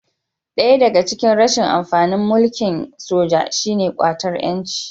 Daya daga cikin rashin amfanin mulkin soja shi ne ƙwatar 'yanci